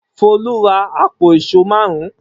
Folú ra àpò ìṣó márùn-ún.